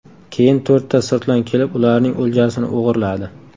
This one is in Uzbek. Keyin to‘rtta sirtlon kelib, ularning o‘ljasini o‘g‘irladi.